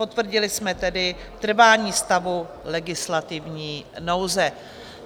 Potvrdili jsme tedy trvání stavu legislativní nouze.